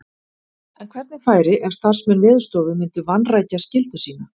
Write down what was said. En hvernig færi ef starfsmenn Veðurstofu myndu vanrækja skyldu sína?